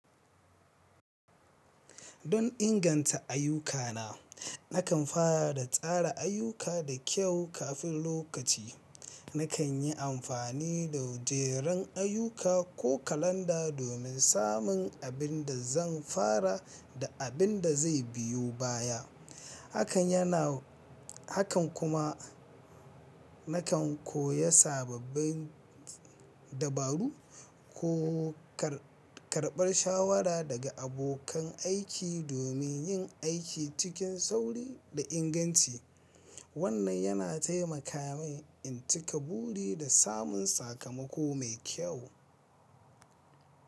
Don inganta ayyukana, nakan fara da tsara ayyuka da kyau kafin lokaci. Nakan yi amfani da mujeren ayyuka ko kalanda domin samun abin da zan fara da abin da zai biyo baya. Hakan kuma nakan koya sababbin dabaru ko karɓar shawara daga abokan aiki domin yin aiki cikin sauri da inganci. Wannan yana taimaka min in cika buri da samun sakamako mai kyau.